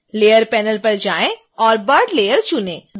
layers panel पर जाएं और bud लेयर चुनें